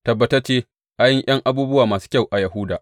Tabbatacce an yi ’yan abubuwa masu kyau a Yahuda.